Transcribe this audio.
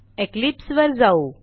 Eclipse वर जाऊ